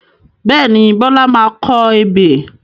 Bẹ́ẹ̀ni, Bọlá máa kọ ebè